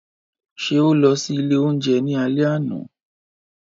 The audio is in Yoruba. Ṣe o lọ si ile ounjẹ ni alẹ ana?